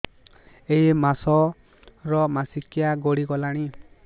ଏଇ ମାସ ର ମାସିକିଆ ଗଡି ଗଲାଣି